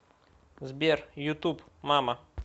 сбер ютуб мама